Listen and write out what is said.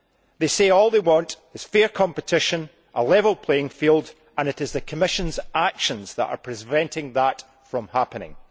They say all they want is fair competition and a level playing field, and it is the Commission's actions that are preventing that from happening.